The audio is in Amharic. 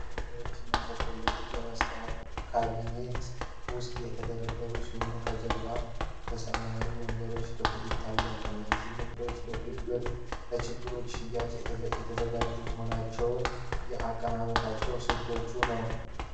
ከረሜላዎቹ እና ቸኮሌቶቹ በመስታወት ካቢኔት ውስጥ የተደረደሩ ሲሆን፣ ከበስተጀርባ ሰማያዊ ወንበር ክፍል ይታያል። እነዚህ ምርቶች ለችርቻሮ ሽያጭ የተዘጋጁ መሆናቸውን የአቀማመጥ ስልቱ ነው።